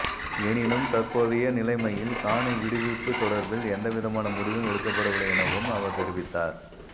எனினும் தற்போதைய நிலைமையில் காணி விடுவிப்பு தொடர்பில் எந்தவிதமான முடிவும் எடுக்கப்படவில்லை எனவும் அவர் தெரிவித்தார்